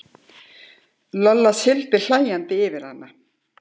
Lolla sigldi hlæjandi yfir hana.